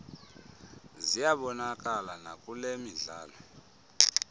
ziyabonakala nakule midlalo